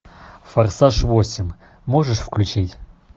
форсаж восемь можешь включить